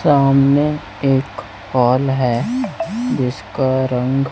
सामने एक हॉल हैं जिसका रंग--